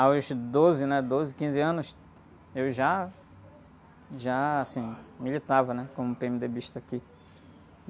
Aos doze, né? Doze, quinze anos, eu já, já, assim, militava, né? Como pê-eme-dê-bista aqui.